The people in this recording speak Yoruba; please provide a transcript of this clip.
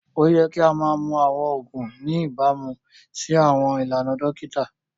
Oyẹ̀ kì o mà mún awọn oogun ní ìbàmú sí awọn ilànà dokita